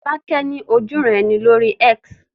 Fọ́lákẹ́ ní ojúuran-ẹni lórí X